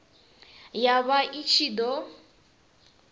ya vha i ṱshi ḓo